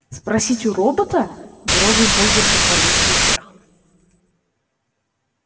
спросить у робота брови богерта полезли вверх